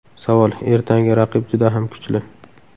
Savol: Ertangi raqib juda ham kuchli.